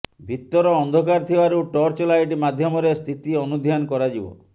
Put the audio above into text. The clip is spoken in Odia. ଭିତର ଅନ୍ଧକାର ଥିବାରୁ ଟର୍ଚ୍ଚଲାଇଟ ମାଧ୍ୟମରେ ସ୍ଥିତି ଅନୁଧ୍ୟାନ କରାଯିବ